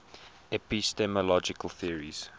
epistemological theories